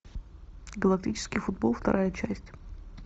галактический футбол вторая часть